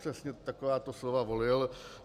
Přesně takováto slova volil.